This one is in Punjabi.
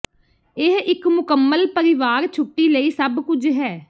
ਇਹ ਇਕ ਮੁਕੰਮਲ ਪਰਿਵਾਰ ਛੁੱਟੀ ਲਈ ਸਭ ਕੁਝ ਹੈ